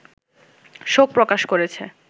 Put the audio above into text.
শোক প্রকাশ করেছে